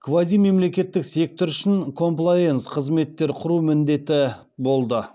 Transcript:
квазимемлекеттік сектор үшін комплаенс қызметтер құру міндеті болды